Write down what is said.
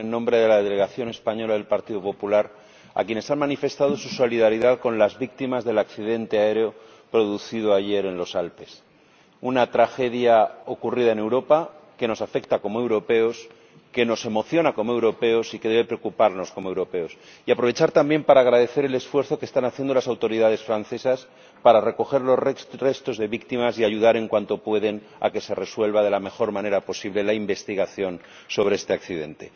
Señor Presidente, quiero, en primer lugar, sumarme, en nombre de la delegación española del Partido Popular, a quienes han manifestado su solidaridad con las víctimas del accidente aéreo producido ayer en los Alpes ―una tragedia ocurrida en Europa que nos afecta como europeos, que nos emociona como europeos y que debe preocuparnos como europeos― y aprovechar también para agradecer el esfuerzo que están haciendo las autoridades francesas para recoger los restos de las víctimas y ayudar en cuanto pueden a que se resuelva de la mejor manera posible la investigación sobre este accidente.